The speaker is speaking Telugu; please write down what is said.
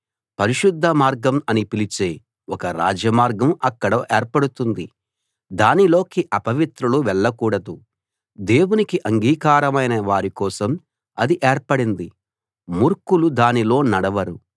పరిశుద్ధ మార్గం అని పిలిచే ఒక రాజమార్గం అక్కడ ఏర్పడుతుంది దానిలోకి అపవిత్రులు వెళ్ళకూడదు దేవునికి అంగీకారమైన వారికోసం అది ఏర్పడింది మూర్ఖులు దానిలో నడవరు